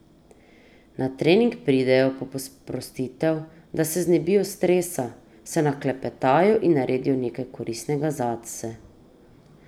Na trening pridejo po sprostitev, da se znebijo stresa, se naklepetajo in naredijo nekaj koristnega zase.